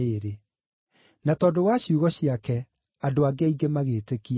Na tondũ wa ciugo ciake, andũ angĩ aingĩ magĩĩtĩkia.